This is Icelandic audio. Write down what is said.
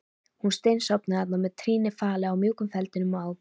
Hún steinsofnaði þarna með trýnið falið í mjúkum feldinum á